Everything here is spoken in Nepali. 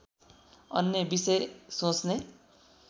अन्य विषय सोच्ने